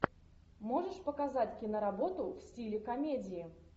можешь показать киноработу в стиле комедии